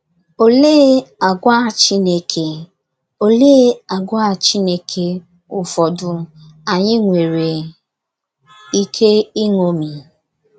Oléé àgwà Chineke Oléé àgwà Chineke ụfọdụ anyị nwere ike iṅomi?